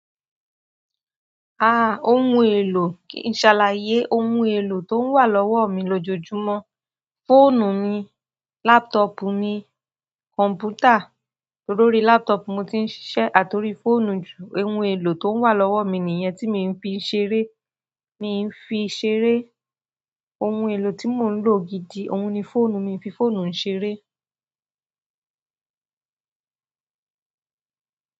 Ah ohun èlò, ṣàlàyé ohun èlò tó wà lọ́wọ́ mi lójoojúmọ́. Fóònù mi, laptop mi, kọ̀m̀pútà, to lórí laptop mo tí ń ṣiṣẹ́ àti orí fóònù jù. Ohun èlò tó wà lọ́wọ́ mi nìyẹn tí mii fi ń ṣeré, mii ń fi ṣeré. Ohun èlò tí mò ń lò gidi, òun ni fóònù mi fi fóònù ń ṣeré.